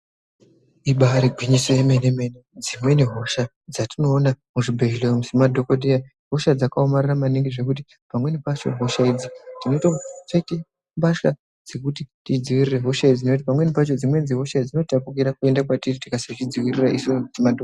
Ibari gwinyiso remene mene dzimweni hosha dzatinoona muzvibhedhlera umu semadhokoteya hosha dzakaomarara maningi zvekuti pamweni pacho hosha idzi tinotopfeka mbatya dzekuti tizvidzivirire nekuti pamweni pacho dzinotapukira kuenda kwatiri tikasazvidzivirira isu semadhokodheya.